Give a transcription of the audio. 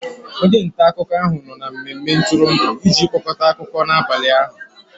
onye nta akụkọ ahụ nọ na mmemme ntụrụndụ iji kpokọta akụkọ n'abalị ụnyaahụ